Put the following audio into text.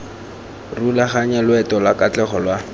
rulaganya loeto lwa katlego lwa